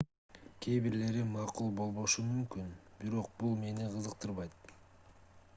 кээ бирлери макул болбошу мүмкүн бирок бул мени кызыктырбайт